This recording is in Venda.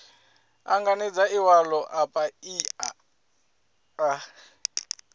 anganedza iwalo a paia a